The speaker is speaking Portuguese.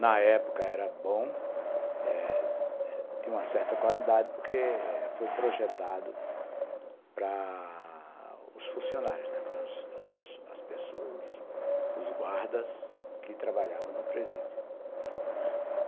Na época era bom, eh tinha uma certa qualidade, porque foi projetado para os funcionários, para as pessoas, os guardas que trabalhavam no presídio.